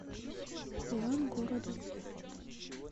ивангородом